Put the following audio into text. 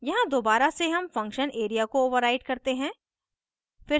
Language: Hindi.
यहाँ दोबारा से हम function area को override करते हैं